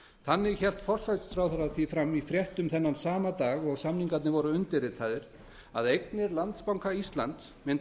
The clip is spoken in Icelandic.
þannig hélt forsætisráðherra því fram í fréttum sama dag og samningarnir voru undirritaðir að eignir landsbanka íslands mundu